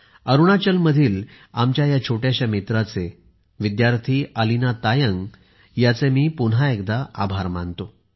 अरुणाचलमधील आमच्या या छोट्याशा मित्राचे विद्यार्थी अलीना तायंग यांचे मी पुन्हा एकदा आभार मानतो